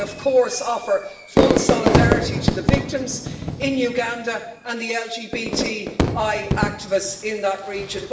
I, of course, offer full solidarity to the victims in Uganda and the LGBTI activists in that region.